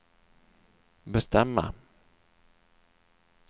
bestämma